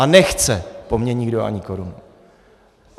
A nechce po mně nikdo ani korunu.